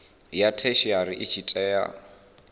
ya theshiari i tshi tea